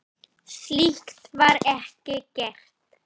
Slíkt var ekki gert.